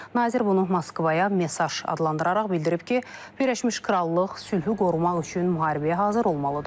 Nazir bunu Moskvaya mesaj adlandıraraq bildirib ki, Birləşmiş Krallıq sülhü qorumaq üçün müharibəyə hazır olmalıdır.